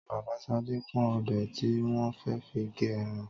Bàbá Ṣadé ń pọ́n ọ̀bẹ tí wọ́n fẹ́ fi gé ẹran